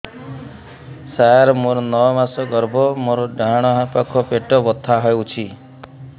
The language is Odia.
ସାର ମୋର ନଅ ମାସ ଗର୍ଭ ମୋର ଡାହାଣ ପାଖ ପେଟ ବଥା ହେଉଛି